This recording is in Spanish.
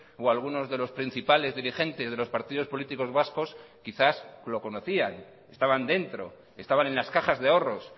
o algunos de los principales dirigentes de los partidos políticos vascos quizás lo conocían estaban dentro estaban en las cajas de ahorros